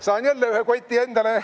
Saan jälle ühe koti endale.